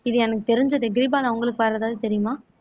இது எனக்கு தெரிஞ்சது கிருபாலா உங்களுக்கு வேர எதாவது தெரியுமா